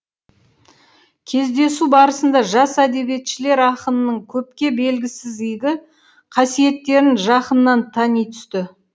кездесу барысында жас әдебиетшілер ақынның көпке белгісіз игі қасиеттерін жақыннан тани түсті